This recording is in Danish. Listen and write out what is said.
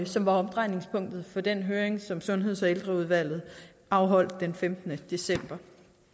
som var omdrejningspunktet for den høring som sundheds og ældreudvalget afholdt den femtende december